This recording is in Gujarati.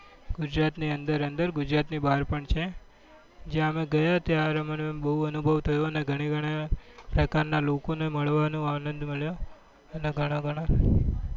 ગુજરાત ની અંદર અંદર ગુજરાત ની બહાર પણ છે જ્યાં અમે ગયા ત્યારે અમને બઉ અનુભવ થયો અને ગણા ગણા પ્રકાર ના લોકો ને મળવા નો આનંદ મળ્યો અને ગણા ગણા